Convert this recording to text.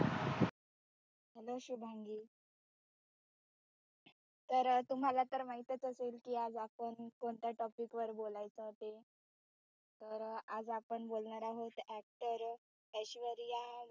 hello Shubhangi तर तुम्हाला तर माहीतच असेल कि आज आपण कोणत्या topic वर बोलायचं ते तर आज आपण बोलणार आहोत. actor ऐश्वर्या